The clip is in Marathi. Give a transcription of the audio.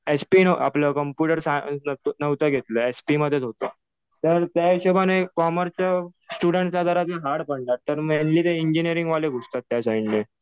एचपी आपलं कम्प्युटर सायन्स नव्हतं घेतलं. एचपी मधेच होतो. तर त्या हिशोबाने कॉमर्स स्टुडण्टला जरा ते हार्ड पडणार. कारण मेनली तर इंजिनिअरिंग वाले घुसतात त्या साईडने.